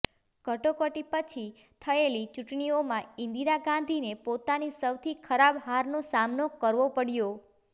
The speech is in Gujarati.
કટોકટી પછી થયેલી ચૂંટણીઓમાં ઈન્દિરા ગાંધીને પોતાની સૌથી ખરાબ હારનો સામનો કરવો પડ્યો